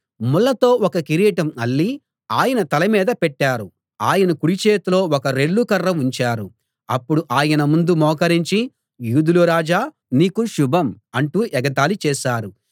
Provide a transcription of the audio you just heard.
ముళ్ళతో ఒక కిరీటం అల్లి ఆయన తలమీద పెట్టారు ఆయన కుడి చేతిలో ఒక రెల్లు కర్ర ఉంచారు అప్పుడు ఆయన ముందు మోకరించి యూదుల రాజా నీకు శుభం అంటూ ఎగతాళి చేశారు